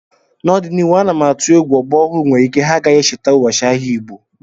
N'ọdịnihu ana m atụ egwu ọgbọ ọhụrụ nwere ike ha agaghị echeta ụbọchị ahịa Igbo